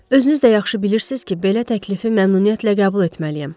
Özünüz də yaxşı bilirsiz ki, belə təklifi məmnuniyyətlə qəbul etməliyəm.